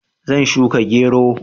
Zan shuka gero.